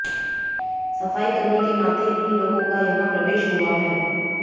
सफाईकर्मी के नाते इन लोगों का यहां प्रवेश हुआ है